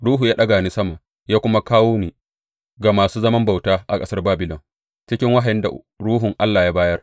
Ruhu ya ɗaga ni sama ya kuma kawo ni ga masu zaman bauta a ƙasar Babilon cikin wahayin da Ruhun Allah ya bayar.